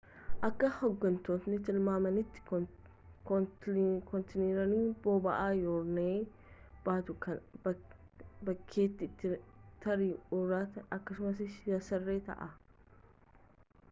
akka hoggantoonni tilmaamanitti kontiineeriin boba'aa yuraniiyem baatuu kun bakkeetti tarii uratee akkasumas yaaseera ta'a